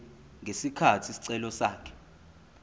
ngesikhathi isicelo sakhe